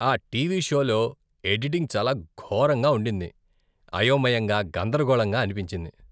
ఆ టీవీ షోలో ఎడిటింగ్ చాలా ఘోరంగా ఉండింది. అయోమయంగా, గందరగోళంగా అనిపించింది.